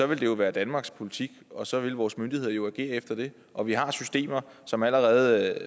ville det jo være danmarks politik og så ville vores myndigheder jo agere efter det og vi har systemer som allerede